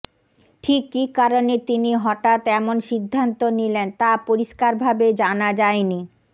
ঠিক কী কারণে তিনি হঠাৎ এমন সিদ্ধান্ত নিলেন তা পরিষ্কারভাবে জানা যায়নি